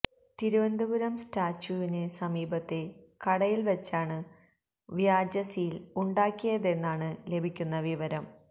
തിരുവനന്തപുരം സ്റ്റാച്യുവിന് സമീപത്തെ കടയിൽ വച്ചാണ് വ്യാജ സീൽ ഉണ്ടാക്കിയതെന്നാണ് ലഭിക്കുന്ന വിവരം